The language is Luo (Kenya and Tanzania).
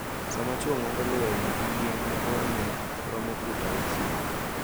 sama chwo ng’ado lweny gi yien ma borne romo fut auchiel.